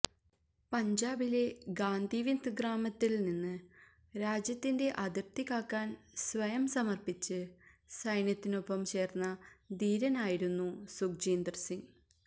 പഞ്ചാബിലെ ഗാന്ധിവിന്ദ് ഗ്രാമത്തില് നിന്ന് രാജ്യത്തിന്റെ അതിര്ത്തി കാക്കാന് സ്വയം സമര്പ്പിച്ച് സൈന്യത്തിനൊപ്പം ചേര്ന്ന ധീരനായിരുന്നു സുഖ്ജീന്ദര് സിങ്